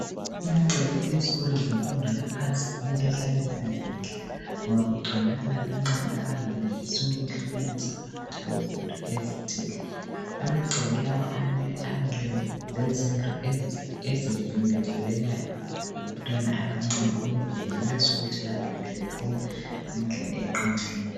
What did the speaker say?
Amagceke ezikolo zemfundo yaphansi kumele ehlale ehlanzekile ngoba kugcwele abancane abangenelesi ukwehlukanisa phakathi kwezinto ezithile, Amagceke lawa amele abelezindlu ezifikelayo ngabantwana abancane ukuze benelise bangene bephuma ngendlela eqondileyo.